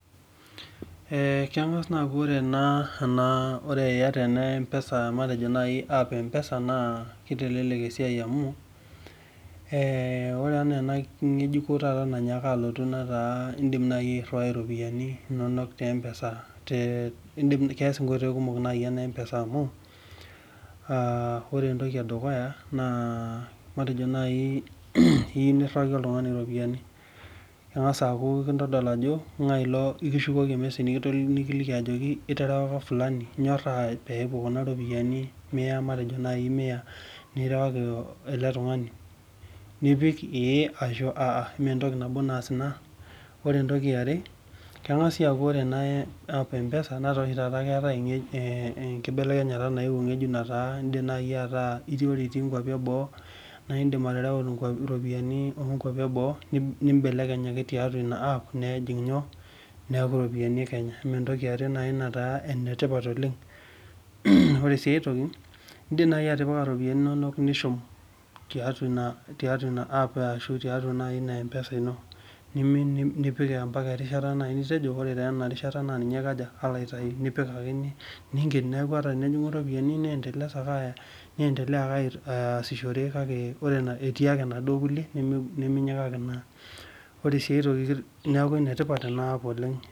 Ee kengas aaku ore iata ena apo e mpesa na kitelelek esiai amu indim airiwai iropiyiani inonok teempesa keas nkoitoi kumok enampesa amu matejo entoki edukuya iyieu niriwaki oltungani ropiyani kengasa aaku ekishukuko ormesej ajoki iterewaka Fulani inyoraa pepuo kuna ropiyani matejo mia mipik ee ashu aa ore entoki eare kengas aaku ore ena app empesa na ore iti nkwapi eboo na idim atereu ropiyani onkwapi eboo nimbelekeny tiatua ina app nejing njoo neaku ropiyani ekenya amaa entoki na nataa enetipat oleng ore si enkae toki indim nai atipika ropiyani inonok nishum tiatua ianap asu tiatua inampesa nipika mbaka erishata nitejo ore taa enarishata na ninye alo aitau ninken ataa enejingi ropiyani etii ake kuna kulie niminyikaki ore si atoki neaku enetipat ena app oleng